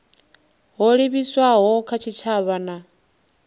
ho livhiswaho kha tshitshavha na